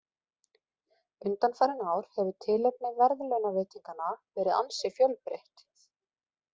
Undanfarin ár hefur tilefni verðlaunaveitinganna verið ansi fjölbreytt.